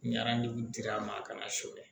Ɲarani dira a ma a kana s'o la